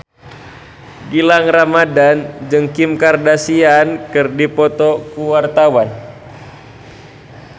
Gilang Ramadan jeung Kim Kardashian keur dipoto ku wartawan